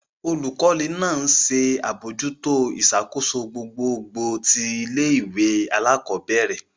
Olukọni náà nṣe abojuto iṣakoso gbogbogbò ti ilé-ìwé alakọbẹrẹ.